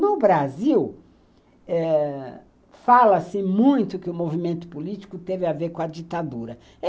No Brasil, eh... fala-se muito que o movimento político teve a ver com a ditadura.